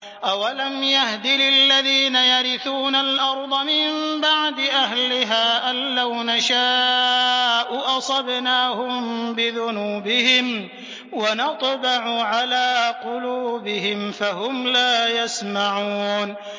أَوَلَمْ يَهْدِ لِلَّذِينَ يَرِثُونَ الْأَرْضَ مِن بَعْدِ أَهْلِهَا أَن لَّوْ نَشَاءُ أَصَبْنَاهُم بِذُنُوبِهِمْ ۚ وَنَطْبَعُ عَلَىٰ قُلُوبِهِمْ فَهُمْ لَا يَسْمَعُونَ